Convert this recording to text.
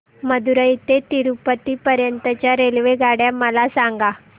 मदुरई ते तिरूपती पर्यंत च्या रेल्वेगाड्या मला सांगा